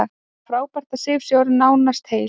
Það er frábært að Sif sé orðin nánast heil.